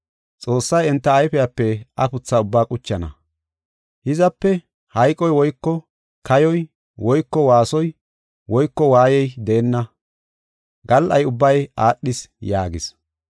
Xoossay enta ayfepe afutha ubbaa quchana. Hizape hayqoy woyko kayoy woyko waasoy woyko waayey deenna. Gal77ay ubbay aadhis” yaagis.